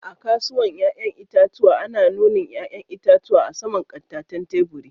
A'kasuwan yayan itatuwa ana nuni'n yayan itatuwan a sama'n kataten taburi.